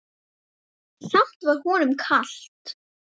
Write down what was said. Samt var honum kalt.